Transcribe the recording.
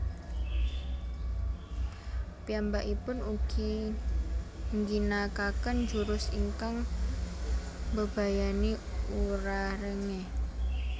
Piyambakipun ugi ngginakaken jurus ingkang mbebayani Urarenge